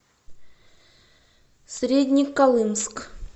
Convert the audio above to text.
среднеколымск